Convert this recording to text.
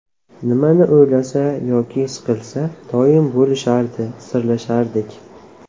Nimani o‘ylasa yoki siqilsa doim bo‘lishardi, sirlashardik.